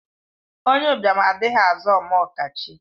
Onye ụbịam adịghị aza Ome ọkachie